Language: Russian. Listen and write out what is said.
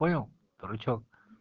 понял дурачок